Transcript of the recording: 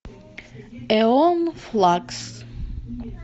эон флакс